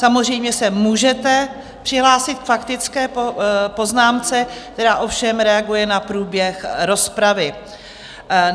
Samozřejmě se můžete přihlásit k faktické poznámce, která ovšem reaguje na průběh rozpravy.